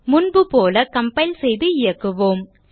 முன்பு போல கம்பைல் செய்து இயக்குவோம்